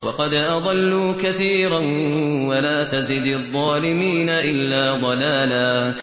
وَقَدْ أَضَلُّوا كَثِيرًا ۖ وَلَا تَزِدِ الظَّالِمِينَ إِلَّا ضَلَالًا